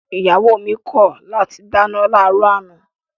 Ìyàwó mi kọ̀ láti dáná láàárọ̀ àná